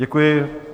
Děkuji.